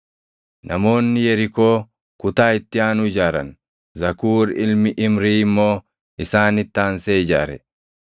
Namoonni Yerikoo kutaa itti aanu ijaaran; Zakuur ilmi Imrii immoo isaanitti aansee ijaare.